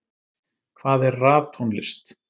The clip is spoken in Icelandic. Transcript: Hvað er raftónlist?